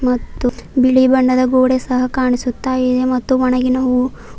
ಮತ್ತು ಬಿಳಿ ಬಣ್ಣದ ಗೋಡೆ ಸಹ ಕಾಣಿಸುತ್ತ ಇದೆ ಮತ್ತು ಒಣಗಿನ ಹೂವು--